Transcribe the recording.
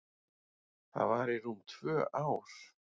Það var í rúm tvö ár.